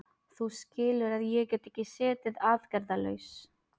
Þú skilur að ég get ekki setið aðgerðalaus.